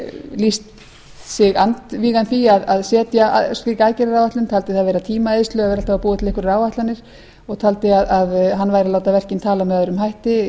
lýst sig andvígan því að setja slíka aðgerðaáætlun taldi það tímaeyðslu að vera alltaf að búa til einhverjar áætlanir og taldi að hann væri að láta verkin tala með öðrum hætti tilraunir til